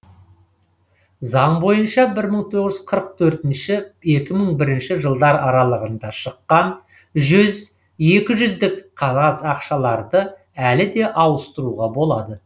заң бойынша бір мың тоғыз жүз қырық төртінші екі мың бірінші жылдар аралығында шыққан жүз екі жүздік қағаз ақшаларды әлі де ауыстыруға болады